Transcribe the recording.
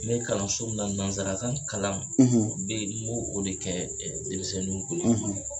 Me kalanso min na nanzarakan kalan n bɛ n b'o de kɛ denmisɛnw kun